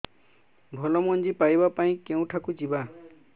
ଭଲ ମଞ୍ଜି ପାଇବା ପାଇଁ କେଉଁଠାକୁ ଯିବା